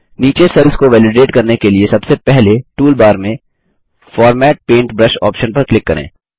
नीचे सेल्स को वैलिडेट करने के लिए सबसे पहले टूलबार में फॉर्मेट पेंटब्रश ऑप्शन पर क्लिक करें